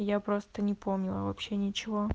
я просто не помню вообще ничего